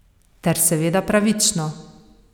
Ter seveda pravično.